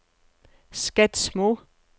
Skedsmo